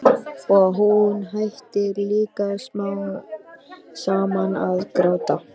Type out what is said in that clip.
Og hún hættir líka smám saman að gráta.